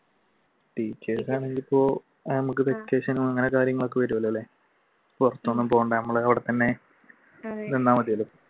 teachers ആണെങ്കിൽ ഇപ്പോൾ നമുക്ക് vacation ഉം അങ്ങനത്തെ കാര്യങ്ങൾ ഒക്കെ വരുമല്ലേ പുറത്തൊന്നും പോവണ്ട ഞമ്മള് അവിടെ തന്നെ നിന്നാൽ മതിയല്ലോ.